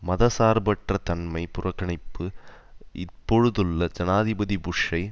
மதசார்பற்ற தன்மை புறக்கணப்பு இப்பொழுதுள்ள ஜனாதிபதி புஷ்ஷை